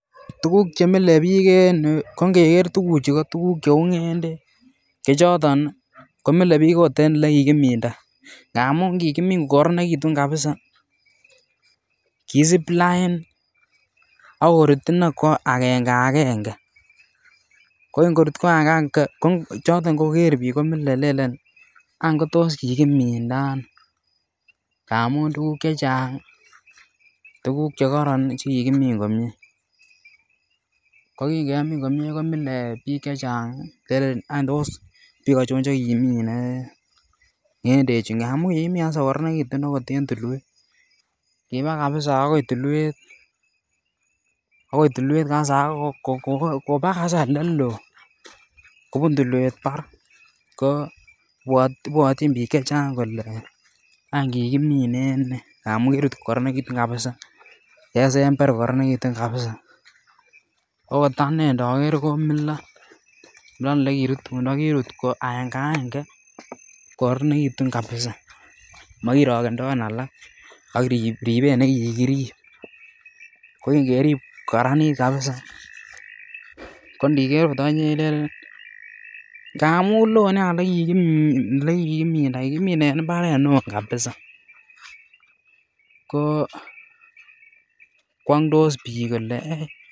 Tuguk che mile biik en yuu ko ngeger tuguchu ko tuguk che uu ngendek che choton ko milee biik ot en ole kikiminda ngamun kikimin ko korononekitun kabisa kisip lain akorut inee ko angenge ko ngorut ko angenge ngenge ko choton ngoger biik ko mile lelen any kotos kikiminda ano, ngamun tuguk chechang ii tuguk che koron che kikimin komie. Ko kingemin komie komile biik chechang ii lelen wany tos biik achon chekimine ngedechu ngamun kikimin kabisa ko koronegitun okot en tulwet kibaa kabisa agoi tulwet, agoi tulwet kabisa ak kobaa kabisa oleloo kobun tulwet barak ko bwotyin biik chechang kolee wany kikiminen nee ngamun kirut ko korononekitun kabisa kesember ko korononekitun kabisa okot anee ndoger komilon ole kirutundo. Kirut aenge aenge kogoronenitun kabisa... Mokorokendoen alak ak ribet ne kikirib ko kingerib ko Karanit kabisa ko ndiger ot okinyee ilelen